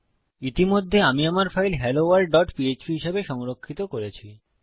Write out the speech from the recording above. ইতিমধ্যে আমি আমার ফাইল helloworldপিএচপি হিসাবে সংরক্ষিত করেছি